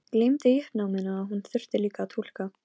Gleymdi í uppnáminu að hún þurfti líka að túlka.